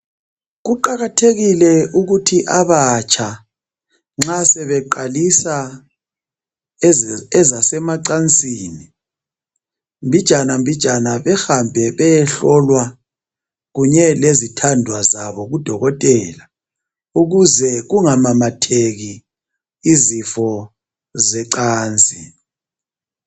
Kuqakathekile ukuthi abatsha nxa sebeqalisa ezasemacansini, mbijana mbijana behambe beyehlolwa kunye lezithandwa zabo kudokotela ukuze kungamamatheki izifo zecansi.